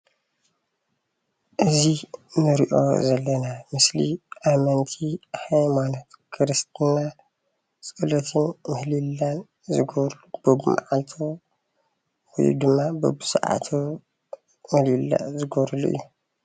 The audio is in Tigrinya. እዙይ እንሪኦ ዘለና ምስሊ ኣመንቲ ሃይማኖት ኽርስትና ፀሎትን ምህልላን ዝገብሩሉ በብመዓልቱ ወይ ድማ በብሰዓቱ ምህልላ ዝገብሩሉ እዩ።።